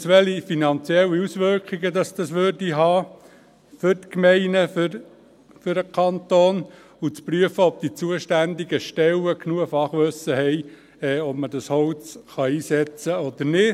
zweitens, welche finanziellen Auswirkungen dies für die Gemeinden und den Kanton hätte; und zu prüfen, ob die zuständigen Stellen genug Fachwissen haben in Bezug auf die Frage, ob man dieses Holz einsetzen kann oder nicht.